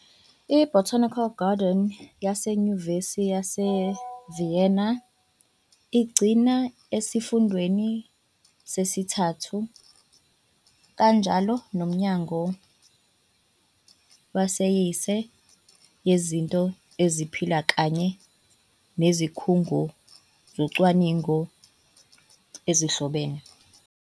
I-Botanical Garden yaseNyuvesi yase-Vienna igcinwe esiFundeni Sesithathu, kanjalo noMnyango Wesayensi Yezinto eziphilayo kanye nezikhungo zocwaningo ezihlobene.